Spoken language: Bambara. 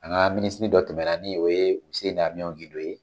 An ka Minisiri dɔ tɛmɛna ni oo ye Useni Amiɔn Gindo ye.